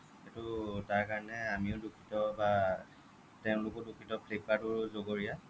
সেইটো তাৰ কাৰণে আনিও দুখিত বা আহ তেওলোকেও দুখিত flipkart ও জগৰীয়া